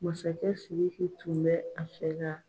Masakɛ Siriki tun bɛ a fɛ ka